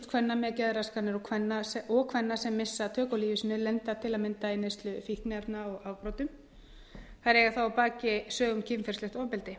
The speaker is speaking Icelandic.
kvenna með geðraskanir og kvenna sem missa tök á lífi sínu lenda til að mynda í neyslu fíkniefna og afbrotum eiga að baki sögu um kynferðislegt ofbeldi